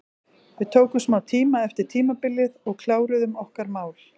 Við tókum smá tíma eftir tímabilið og kláruðum okkar mál.